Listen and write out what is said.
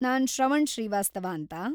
ನಾನ್‌ ಶ್ರವಣ್‌ ಶ್ರೀವಾಸ್ತವ ಅಂತ.